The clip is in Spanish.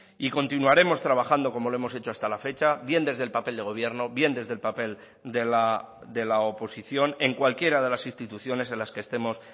y continuaremos trabajando como lo hemos hecho hasta la fecha bien desde el papel de gobierno bien desde el papel de la oposición en cualquiera de las instituciones en las que estemos